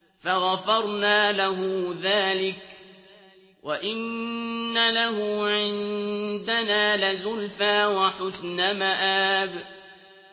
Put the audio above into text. فَغَفَرْنَا لَهُ ذَٰلِكَ ۖ وَإِنَّ لَهُ عِندَنَا لَزُلْفَىٰ وَحُسْنَ مَآبٍ